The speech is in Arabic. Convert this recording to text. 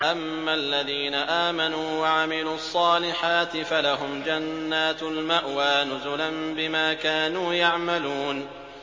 أَمَّا الَّذِينَ آمَنُوا وَعَمِلُوا الصَّالِحَاتِ فَلَهُمْ جَنَّاتُ الْمَأْوَىٰ نُزُلًا بِمَا كَانُوا يَعْمَلُونَ